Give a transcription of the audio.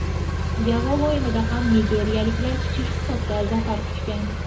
Javob o‘yinida ham nigeriyaliklar kichik hisobda zafar quchgan.